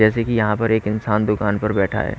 जैसे की यहां पर एक इंसान दुकान पर बैठा है।